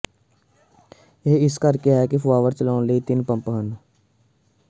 ਇਹ ਇਸ ਕਰਕੇ ਹੈ ਕਿ ਫੁਆਅਰ ਚਲਾਉਣ ਲਈ ਤਿੰਨ ਪੰਪ ਹਨ